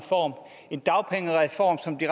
i